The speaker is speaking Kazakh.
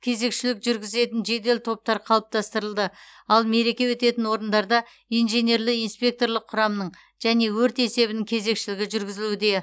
кезекшілік жүргізетін жедел топтар қалыптастырылды ал мереке өтетін орындарда инженерлі инспекторлық құрамның және өрт есебінің кезекшілігі жүргізілуде